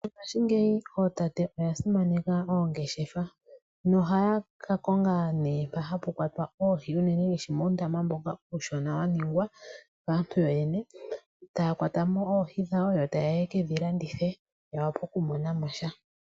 Mongaashingeyi ootate oya simaneka oongeshefa nohaya ka konga nee mpa hapu kwatwa oohi, unene ngaashi muundama mboka uushona, wa ningwa kaantu yoyene, taya kwata mo oohi dhawo, yo taye ya ye kedhi landithe, ya wape oku mona mo sha.